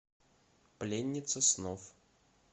пленница снов